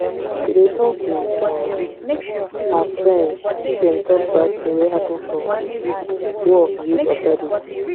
she dey with um her friend make dem talk bad thing wey happen for um work give authority